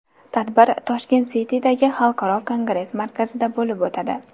Tadbir Tashkent City’dagi Xalqaro kongress markazida bo‘lib o‘tadi.